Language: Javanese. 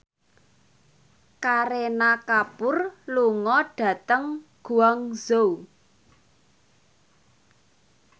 Kareena Kapoor lunga dhateng Guangzhou